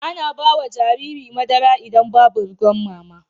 Ana bawa Jariri madara idan Babu ruwan mama